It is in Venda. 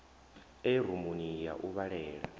re rumuni ya u vhalela